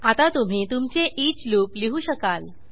आता तुम्ही तुमचे ईच लूप लिहू शकाल